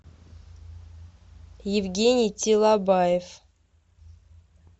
евгений тилабаев